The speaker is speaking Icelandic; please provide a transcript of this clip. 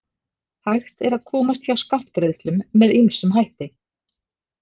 Hægt er að komast hjá skattgreiðslum með ýmsum hætti.